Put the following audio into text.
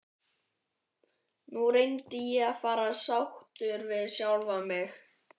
Nú reyni ég að vera sáttur við sjálfan mig.